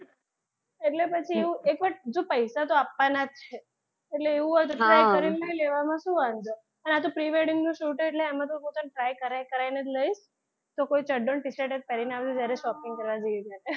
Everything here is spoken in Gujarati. એટલે પછી એવું એક વાર જો પૈસા તો આપવાના જ છે એટલે એવું હોય તો try કરીને લેવામાં શું વાંધો છે અને આ તો pre-wedding નું shut એટલે આમાં તો હું તને try કરાય કરાય ને જ લઈશ તો કોઈ ચડ્ડો ને t -shirt જ પહેરીને આવજે જયારે shopping કરવા જૈયે ત્યારે,